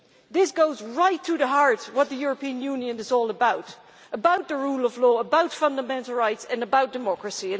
This goes right to the heart of what the European Union is all about about the rule of law, about fundamental rights, and about democracy.